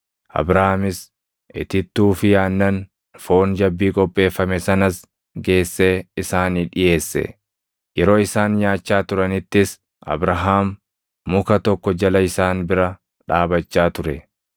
Abrahaamis itittuu fi aannan, foon jabbii qopheeffame sanas geessee isaanii dhiʼeesse; yeroo isaan nyaachaa turanittis Abrahaam muka tokko jala isaan bira dhaabachaa ture.